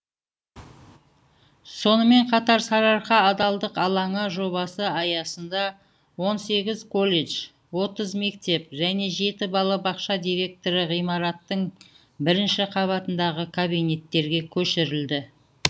сонымен қатар сарыарқа адалдық алаңы жобасы аясында он сегіз колледж отыз мектеп және жеті балабақша директоры ғимараттың бірінші қабатындағы кабинеттерге көшірілді